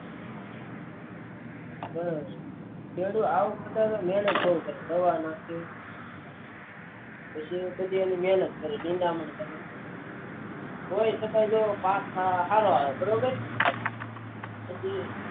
પણ આવક માટે મહેનત કરે ભણવા માટે પછી બીજી મહેનત કરે નિદામણ કરે ત એ છતા પાક સારો આવે બરાબર